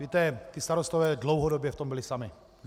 Víte, ti starostové dlouhodobě v tom byli sami.